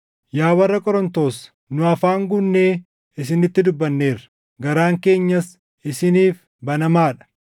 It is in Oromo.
Yaa warra Qorontos, nu afaan guunnee isinitti dubbanneerra; garaan keenyas isiniif banamaa dha.